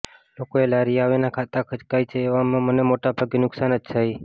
લોકોએ લારીએ આવીને ખાતા ખચકાય છે એવામાં મને મોટાભાગે નુકસાન જ જાય છે